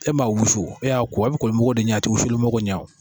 E m'a wusu o a y'a ko a bi koli mago de ɲa a ti wusuli mago ɲa o